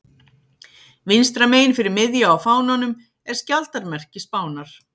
Vinstra megin fyrir miðju á fánanum er skjaldarmerki Spánar.